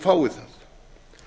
fái það